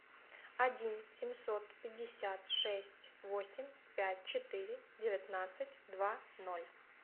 один семьсот пятьдесят шесть восемь пять четыре девятнадцать два ноль